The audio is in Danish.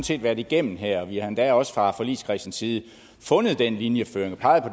set været igennem her og vi har endda også fra forligskredsens side fundet den linjeføring peget på